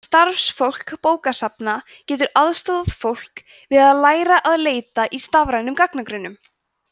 starfsfólk bókasafna getur aðstoðað fólk við að læra að leita í rafrænum gagnagrunnum